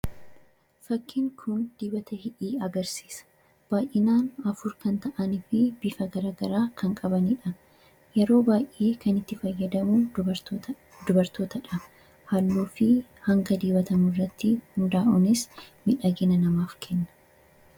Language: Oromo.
fakkiin kun diibata hidhii agarsiisa baay'inaan afur kan ta'anii fi bifa garagaraa kan qabaniidha yeroo baay, ee kan itti fayyadamuu dubartootaadha. haalluu fi hanga diibatamu irratti hundaa'unis midhagina namaaf kenna.